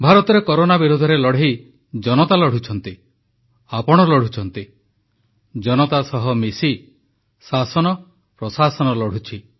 ଭାରତରେ କରୋନା ବିରୋଧରେ ଲଢ଼େଇ ଜନତା ଲଢ଼ୁଛନ୍ତି ଆପଣ ଲଢ଼ୁଛନ୍ତି ଜନତା ସହ ମିଶି ଶାସନ ପ୍ରଶାସନ ଲଢ଼ୁଛି